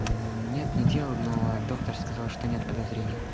нет не делал но доктор сказал что нет подозрения